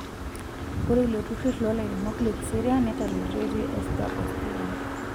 Ore iloturur lolairemok lekiserian netaretoitie Ester oo Stephen.